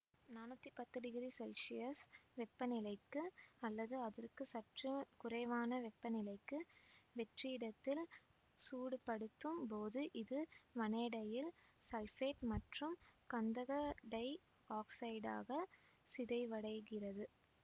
நானூத்தி பத்து degree Celsius வெப்பநிலைக்கு அல்லது அதற்குச்சற்று குறைவான வெப்பநிலைக்கு வெற்றிடத்தில் சூடுபடுத்தும் போது இது வனேடைல் சல்பேட்டு மற்றும் கந்தக டை ஆக்சைடாகச் சிதைவடைகிறது